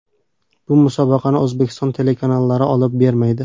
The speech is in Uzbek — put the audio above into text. Bu musobaqani O‘zbekiston telekanallari olib bermaydi.